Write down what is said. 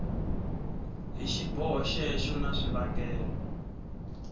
hi xiboho xexo na swivangelo